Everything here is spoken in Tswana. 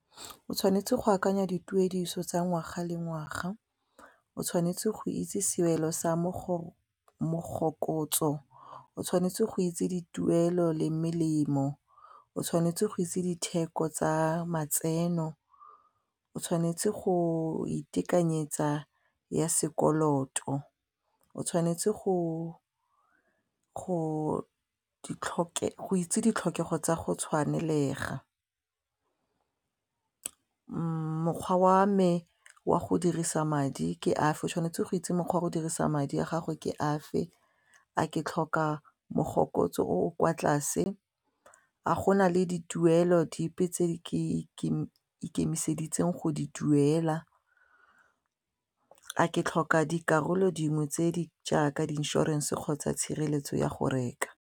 O tshwanetse go akanya dituediso tsa ngwaga le ngwaga o tshwanetse go itse sewelo sa mogokotso, o tshwanetse go itse dituelo le melemo, o tshwanetse go itse ditheko tsa matseno, o tshwanetse go itekanyetsa ya sekoloto, o tshwanetse go itse ditlhokego tsa go tshwanelega mokgwa wa me wa go dirisa madi ke afe, tshwanetse go itse mokgwa wa go dirisa madi a gago ke afe a ke tlhoka mogopolo o o kwa tlase a go na le dituelo dipe tse di ikemiseditseng go di duela, a ke tlhoka dikarolo dingwe tse di jaaka di-insurance kgotsa tshireletso ya go reka.